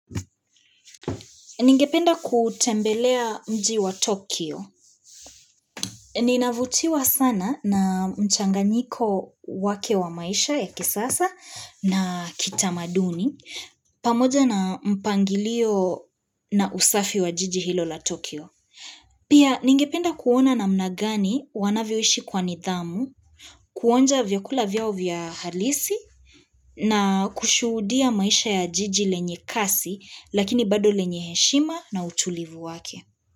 Ningependa kutembelea mji wa Tokyo. Ninavutiwa sana na mchanganyiko wake wa maisha ya kisasa na kitamaduni. Pamoja na mpangilio na usafi wa jiji hilo la Tokyo. Pia ningependa kuona namna gani wanavyoishi kwa nidhamu, kuonja vyakula vyao vya halisi na kushuhudia maisha ya jiji lenye kasi lakini bado lenye heshima na utulivu wake.